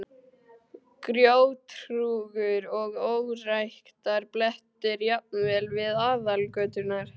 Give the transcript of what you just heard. Grjóthrúgur og óræktarblettir, jafnvel við aðalgöturnar.